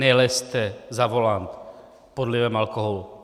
Nelezte za volant pod vlivem alkoholu.